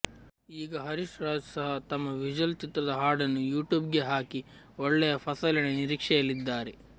ಈಗ ಹರೀಶ್ ರಾಜ್ ಸಹ ತಮ್ಮ ವಿಜಲ್ ಚಿತ್ರದ ಹಾಡನ್ನು ಯೂಟ್ಯೂಬ್ ಗೆ ಹಾಕಿ ಒಳ್ಳೆಯ ಫಸಲಿನ ನಿರೀಕ್ಷೆಯಲ್ಲಿದ್ದಾರೆ